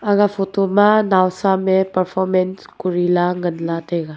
aga photo ma nawsam e performance korila nganla taiga.